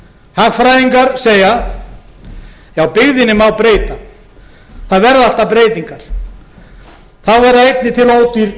hagfræðingar segja já byggðinni má breyta það verða alltaf breytingar þá verða einnig til ódýr